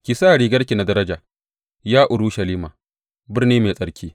Ki sa rigarki na daraja, Ya Urushalima, birni mai tsarki.